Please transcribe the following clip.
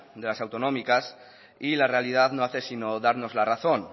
de las autonómicas y la realidad no hace sino darnos la razón